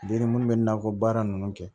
Den ni munnu bɛ nakɔ baara ninnu kɛ